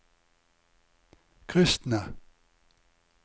kristne